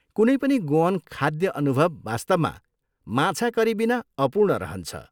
कुनै पनि गोअन खाद्य अनुभव वास्तवमा, माछा करीबिना अपूर्ण रहन्छ।